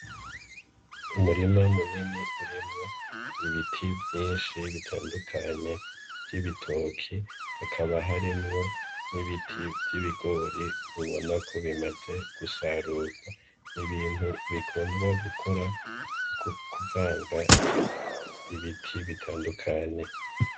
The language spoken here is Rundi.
Umurima munini urimwo ibiti vyinshi bitandukanye vy'ibitoki hakaba harimwo n'ibiti vy'ibigori ubona ko bimaze gusarurwa ni ibintu bikundwa gukora kuvanga ibiti bitandukanye.